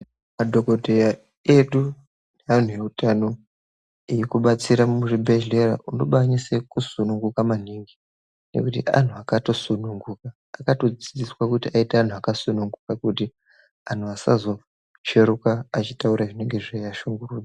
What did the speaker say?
Madhokodheya edu neantu eutano eikubatsire muzvibhedhleya, unokwanise kusununguka maningi ngekuti anhu akatosununguka, akatodzidziswa kuti aite anhu akasununguka ,kuti anhu asazotsveruka kutaura zvinonga zveiashungurudza.